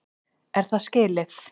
Er það skilið?